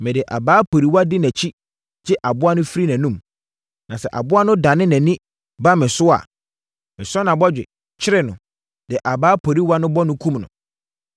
mede abaa poriwa di nʼakyi gye aboa no firi nʼanom. Na sɛ aboa no dane nʼani ba me hɔ a, mesɔ nʼabɔgye, kyere no, de abaa poriwa no bɔ no, kum no.